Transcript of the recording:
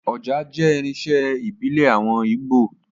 Ọjà jẹ́ irinṣẹ́ ìbílẹ̀ àwọn Ígbò